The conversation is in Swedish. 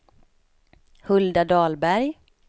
Hulda Dahlberg